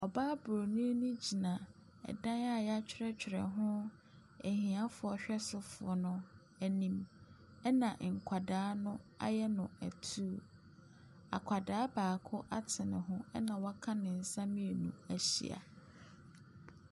Ɔbaa bronii no gyina ɛdan a yatwerɛtwerɛ hoo ahiafoɔ hwɛsofoɔ anim ɛna nkwadaa no ayɛ no atuu. Akwadaa baako ate ne ho ɛna waka ne nsa mmienu ahyia.